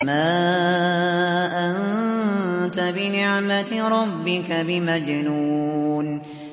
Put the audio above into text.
مَا أَنتَ بِنِعْمَةِ رَبِّكَ بِمَجْنُونٍ